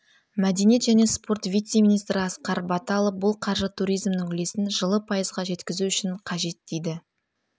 мәдениет және спорт вице-министрі асқар баталов бұл қаржы туризмнің үлесін жылы пайызға жеткізу үшін қажет дейді